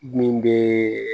Min bɛ